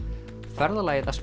ferðalagið að